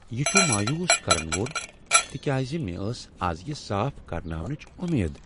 یہ چھ مایوس کرن وول تکیاز مےٚ ٲس آز یِہ صاف کرناونٕچ وۄمید۔